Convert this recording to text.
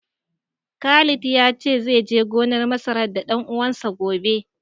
Khalid ya ce zai je gonar masarar da ɗan uwansa, gobe.